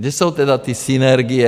Kde jsou tedy ty synergie?